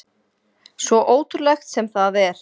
Svo ótrúlegt sem það er.